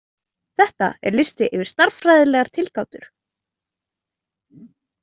Þetta er listi yfir stærðfræðilegar tilgátur.